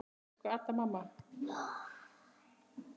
Elsku Adda, mamma.